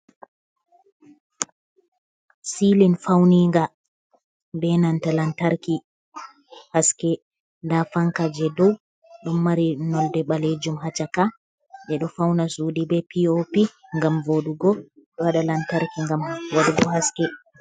Silin fauni nga be nanta lantarki, haske nda fanka je dow ɗum mari nolde ɓalejum ha caka je ɗo fauna sudi be p.o.p ngam vodugo ɓe waɗa lantarki ngam vadugo haske.